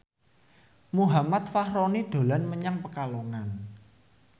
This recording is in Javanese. Muhammad Fachroni dolan menyang Pekalongan